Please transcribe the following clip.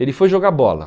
Ele foi jogar bola.